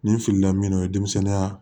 Nin filila min n'o ye denmisɛnninya